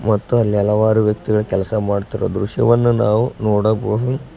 ಮತ್ತು ಅಲ್ಲಿ ಹಲವಾರು ವ್ಯಕ್ತಿಗಳು ಕೆಲಸ ಮಾಡುತ್ತೀರಾ ದ್ರಶ್ಯವನ್ನು ನಾವು ನೋಡಬಹುದು.